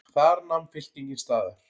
Þar nam fylkingin staðar.